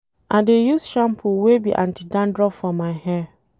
I dey use shampoo wey be anti dandruff for my hair.